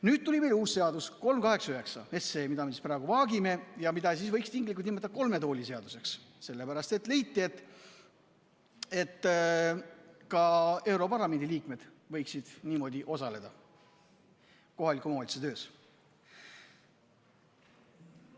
Nüüd tuli meile uus seaduseelnõu, 389, mida me praegu vaagime ja mida võiks tinglikult nimetada kolme tooli seaduseks, sellepärast et leiti, et ka europarlamendi liikmed võiksid niimoodi osaleda kohaliku omavalitsuse töös.